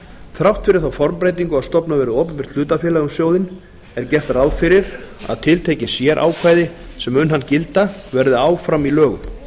þrátt fyrir þá formbreytingu að stofnað verði opinbert hlutafélag um sjóðinn er gert ráð fyrir að tiltekin sérákvæði sem um hann gilda verði áfram í lögum